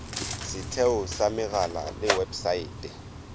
setheo sa megala le websaete